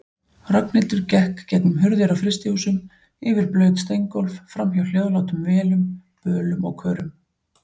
Ragnhildur gekk gegnum hurðir á frystihúsum, yfir blaut steingólf, framhjá hljóðlátum vélum, bölum og körum.